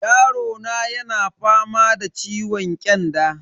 Yarona yana fama da ciwon kyanda.